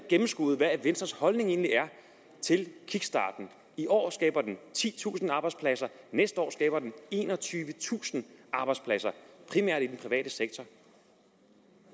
gennemskuet hvad venstres holdning egentlig er til kickstarten i år skaber den titusind arbejdspladser næste år skaber den enogtyvetusind arbejdspladser primært i den private sektor